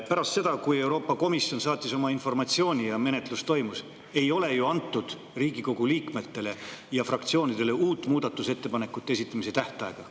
Pärast seda, kui Euroopa Komisjon saatis oma informatsiooni ja menetlus toimus, ei ole ju Riigikogu liikmetele ja fraktsioonidele antud uut muudatusettepanekute esitamise tähtaega.